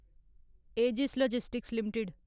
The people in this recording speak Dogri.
edges logistics limited